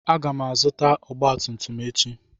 Aga m azụta ọgba tum tum echi.